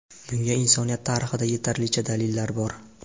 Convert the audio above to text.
Bunga insoniyat tarixida yetarlicha dalillar bor.